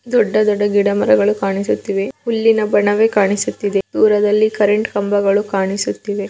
ದೊಡ್ಡ ದೊಡ್ಡ ಗಿಡಮರಗಳು ಕಾಣಿಸುತ್ತಿವೆ ಹುಲ್ಲಿನ ಬಣವೆ ಕಾಣಿಸುತ್ತಿವೆ ದೂರದಲ್ಲಿ ಕರೆಂಟ್ ಕಂಬಗಳು ಕಾಣಿಸುತ್ತಿವೆ.